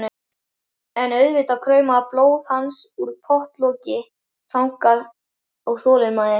En auðvitað kraumaði blóð hans undir pottloki þagnar og þolinmæði.